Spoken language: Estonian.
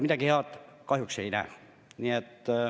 Midagi head kahjuks ei näe.